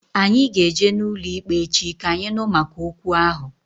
Anyị ga eje n'ụlọikpe echi, ka anyị nụ maka okwu ahụ